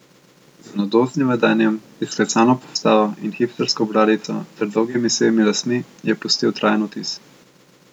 Z mladostnim vedenjem, izklesano postavo in hipstersko bradico ter dolgimi sivimi lasmi je pustil trajen vtis.